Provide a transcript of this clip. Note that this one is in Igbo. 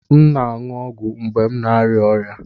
M na-aṅụ ọgwụ mgbe m na-arịa ọrịa